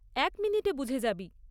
,এক মিনিটে বুঝে যাবি।